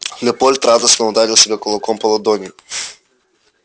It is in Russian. лепольд радостно ударил себе кулаком по ладони